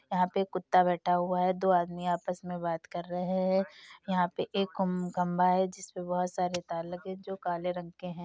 यहाँ पे एक कुत्ता बैठा हुआ है। दो आदमी आपस में बात कर रहे हैं। यहाँ पे एक कुम खम्बा है जिसमें बहुत सारे तार लगे हैं जो काले रंग के हैं।